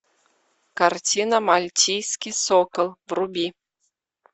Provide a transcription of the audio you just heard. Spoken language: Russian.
картина мальтийский сокол вруби